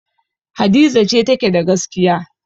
Hadiza ce take da gaskiya.